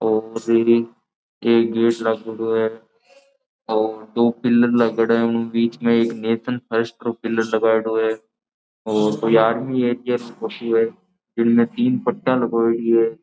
एक गेट लागेडो है और दो पिलर लागेड़ो है उन बीच में एक नेशन फर्स्ट को पिलर लगायेड़ो है और कोई आर्मी है इनमे तीन पट्टिया लगायेड़ी है।